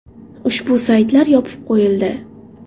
Ushbu saytlar yopib qo‘yildi.